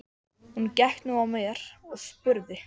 Hún gekk nú að mér og spurði